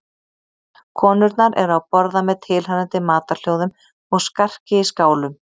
Konurnar eru að borða með tilheyrandi matarhljóðum og skarki í skálum.